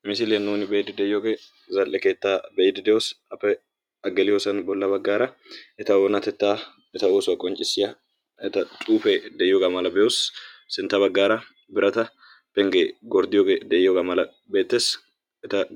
Ha misiliyaan nuuni be''idi de'iyoogee zal"e keettaa be'iidi de''oos. geliyoosan bolla baggaara eta oonatettaa eta oossuwaa qonccisiyaa eta xuufee de'iyoogaa mala be'oos. sintta baggaara birata penggee de'iyoogee beettees.